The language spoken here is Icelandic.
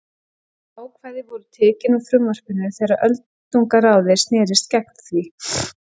Þau ákvæði voru tekin úr frumvarpinu þegar öldungaráðið snerist gegn því.